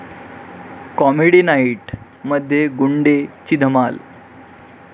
comedy नाईट...'मध्ये 'गुंडे'ची धमाल